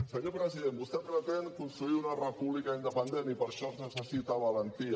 senyor president vostè pretén construir una república independent i per això es necessita valentia